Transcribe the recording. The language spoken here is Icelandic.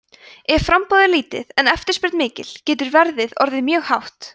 ef framboð er mjög lítið en eftirspurn mikil getur verðið orðið hátt